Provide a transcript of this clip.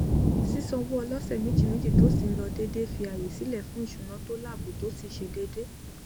sísan owó ọlọsẹméjìméjì tó sì n lọ déédé n fi ààyè sìlẹ fún íṣúná tó láàbò tó sì ṣe déédé